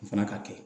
O fana ka kɛ